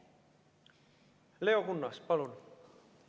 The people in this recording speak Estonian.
Leo Kunnas, palun!